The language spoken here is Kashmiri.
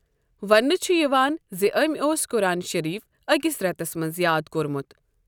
وننہٕ چھ یوان زٕ أمؠ اوس قُرآن شٔریٖف أکِس رؠتس مَنٛز یاد کوٚرمُت.